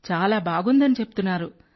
చాలా బాగుందని చెప్తున్నారు